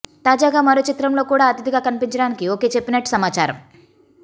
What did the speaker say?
తాజాగా మరో చిత్రంలో కూడా అతిథిగా కనిపించడానికి ఒకే చెప్పినట్టు సమాచారం